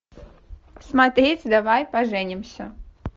смотреть давай поженимся